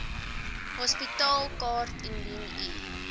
hospitaalkaart indien u